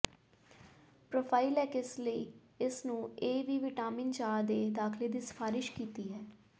prophylaxis ਲਈ ਇਸ ਨੂੰ ਇਹ ਵੀ ਵਿਟਾਮਿਨ ਚਾਹ ਦੇ ਦਾਖਲੇ ਦੀ ਸਿਫਾਰਸ਼ ਕੀਤੀ ਹੈ